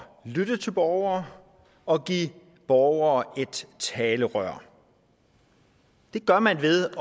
lytte til borgere og give borgere et talerør det gør man ved at